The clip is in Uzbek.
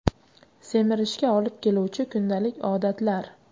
Semirishga olib keluvchi kundalik odatlar.